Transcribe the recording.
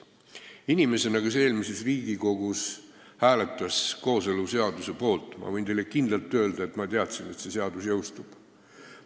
Inimesena, kes eelmises Riigikogus hääletas kooseluseaduse poolt, ma võin teile kindlalt öelda, et ma teadsin, et see seadus jõustub.